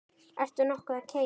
Ertu nokkuð að keyra?